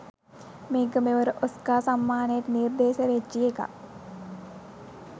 මේක මෙවර ඔස්කා සම්මානයට නිර්දේශ වෙච්චි එකක්.